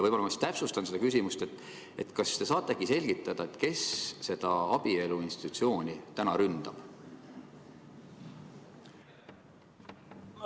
Võib-olla ma täpsustan seda küsimust: kas te saate selgitada, kes seda abielu institutsiooni täna ründab?